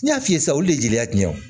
N y'a f'i ye sisan olu de ye jeli ye